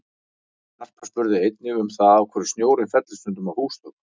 Harpa spurði einnig um það af hverju snjórinn fellur stundum af húsþökum?